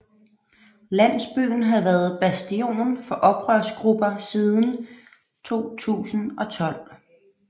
Landsbyen havde været bastion for oprørsgrupper siden 2012